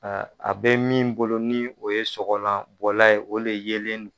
A bɛ min bolo ni o ye sɔkɔlan bɔlan ye o le yelen don